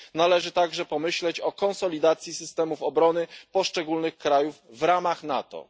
Należy także pomyśleć o konsolidacji systemów obrony poszczególnych krajów w ramach NATO.